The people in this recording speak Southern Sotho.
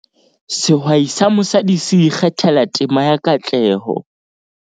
Sehwai sa mosadi se ikgathela tema ya katleho